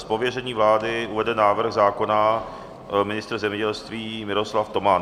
Z pověření vlády uvede návrh zákona ministr zemědělství Miroslav Toman.